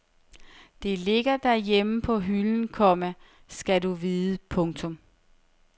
Det ligger derhjemme på hylden, komma skal du vide. punktum